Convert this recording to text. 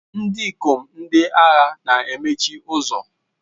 Ndị ikom ndị agha na-emechi ụzọ.